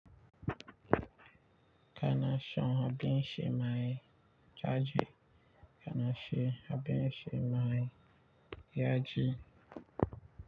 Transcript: Kana shon abin Shema kaji. Kana she abin Shema yaji.